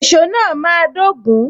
Èso náà máa dogun.